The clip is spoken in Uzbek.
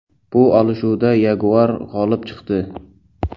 Bu olishuvda yaguar g‘olib chiqdi.